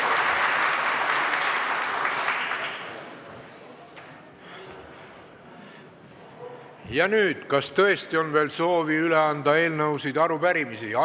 Ja nüüd, kas tõesti on veel soovi üle anda eelnõusid ja arupärimisi?